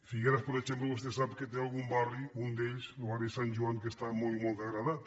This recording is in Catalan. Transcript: figueres per exemple vostè sap que té algun barri un d’ells el barri de sant joan que està molt i molt degradat